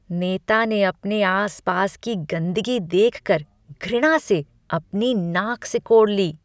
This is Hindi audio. नेता ने अपने आस पास की गंदगी देखकर घृणा से अपनी नाक सिकोड़ ली।